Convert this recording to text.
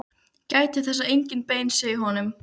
Gætið þess að engin bein séu í honum.